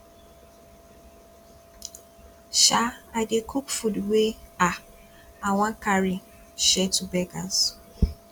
um i dey cook food wey um i wan carry share to beggars